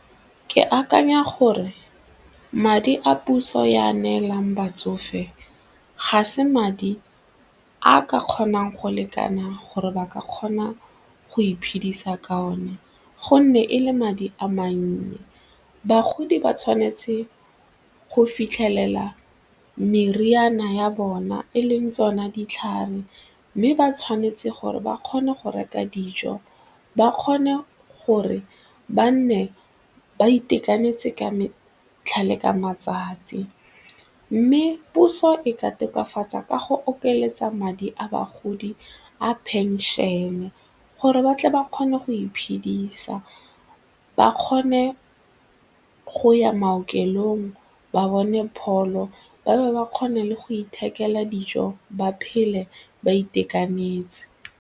Ke akanya gore madi a puso e a neelang batsofe ga se madi a ka kgonang go lekana gore ba ka kgona go iphedisa ka one gonne ele madi a mannye. Bagodi ba tshwanetse go fitlhelela meriana ya bone e leng tsona ditlhare mme ba tshwanetse gore ba kgone go reka dijo ba kgone gore ba nne ba itekanetse ka botlhale ka matsatsi mme puso e ka tokafatsa ka go okeletsa madi a bagodi a phenšene gore ba tle ba kgone go iphedisa, ba kgone go ya maokelong ba bone pholo ba bo ba kgone le go ithekela dijo ba phele ba itekanetse.